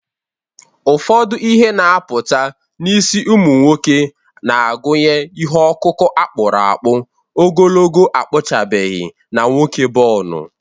Ụfọdụ ihe na-apụta n’isi ụmụ nwoke na-agụnye ihe ọkụkụ a kpụrụ akpụ, ogologo akpụchabeghị, na nwoke bonu.